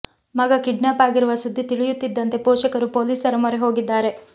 ಮಗ ಕಿಡ್ನಾಪ್ ಆಗಿರುವ ಸುದ್ದಿ ತಿಳಿಯುತ್ತಿದ್ದಂತೆ ಪೋಷಕರು ಪೊಲೀಸರ ಮೊರೆ ಹೋಗಿದ್ದಾರೆ